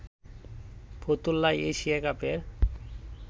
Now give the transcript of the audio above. ফতুল্লায় Asia কাপের